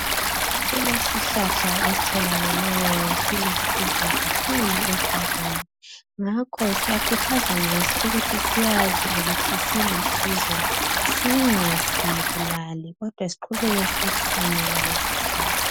Kulesihlahla esitholakale silusizo kakhulu esigabeni. Ngakho siyakhuthazwaa ngaso ukuthi sazi ukuthi silusizo .Singasibulali kodwa siqubeke sisihlanyela leso sihlahla.